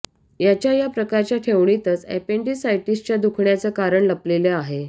याच्या या प्रकारच्या ठेवणीतच अपेंडिसायटिसच्या दुखण्याचं कारण लपलेलं आहे